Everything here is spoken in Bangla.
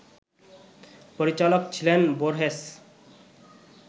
পরিচালক ছিলেন বোর্হেস